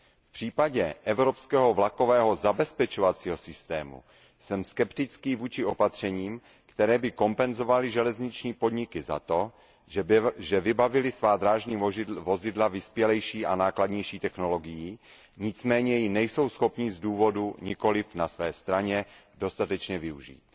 V případě evropského vlakového zabezpečovacího systému jsem skeptický vůči opatřením, která by kompenzovala železniční podniky za to, že vybavily svá drážní vozidla vyspělejší a nákladnější technologií, nicméně ji nejsou schopny z důvodů nikoliv na své straně dostatečně využít.